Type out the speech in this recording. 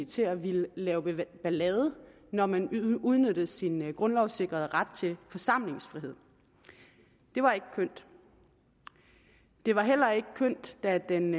til at ville lave ballade når man udnyttede sin grundlovssikrede ret til forsamlingsfrihed det var ikke kønt det var heller ikke kønt da den